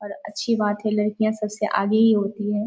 और अच्छी बात है लड़कियाँ सबसे आगे ही होती हैं।